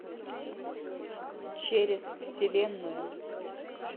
через вселенную